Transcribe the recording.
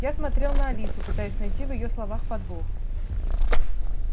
я смотрел на алису пытаясь найти в её словах подвох